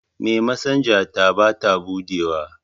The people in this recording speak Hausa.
memasinga ta ba ta buɗewa